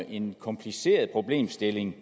en kompliceret problemstilling